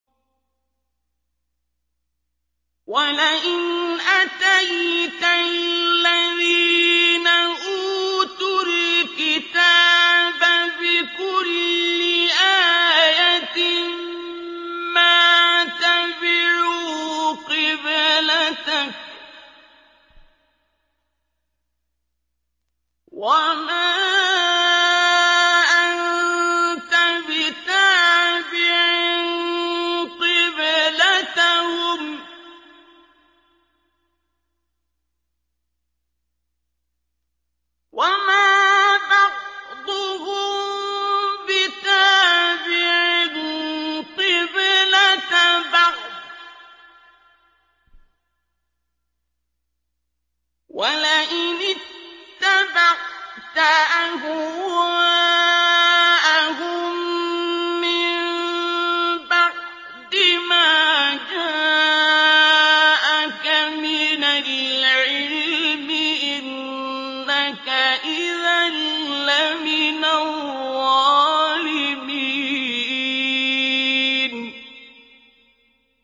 وَلَئِنْ أَتَيْتَ الَّذِينَ أُوتُوا الْكِتَابَ بِكُلِّ آيَةٍ مَّا تَبِعُوا قِبْلَتَكَ ۚ وَمَا أَنتَ بِتَابِعٍ قِبْلَتَهُمْ ۚ وَمَا بَعْضُهُم بِتَابِعٍ قِبْلَةَ بَعْضٍ ۚ وَلَئِنِ اتَّبَعْتَ أَهْوَاءَهُم مِّن بَعْدِ مَا جَاءَكَ مِنَ الْعِلْمِ ۙ إِنَّكَ إِذًا لَّمِنَ الظَّالِمِينَ